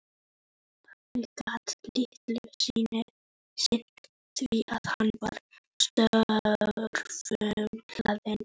Pabbi gat litlu sinnt því að hann var störfum hlaðinn.